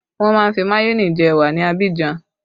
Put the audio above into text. Wọn má ń fi mayone jẹ ẹwà ní Abidjan